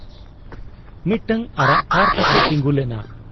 ᱢᱤᱫᱴᱟᱹᱝ ᱟᱨᱟᱜ ᱠᱟᱨ ᱛᱟᱠᱚ ᱛᱤᱸᱜᱩ ᱞᱮᱱᱟ ᱾